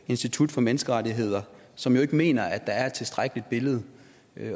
institut for menneskerettigheder som jo ikke mener at der er et tilstrækkeligt billede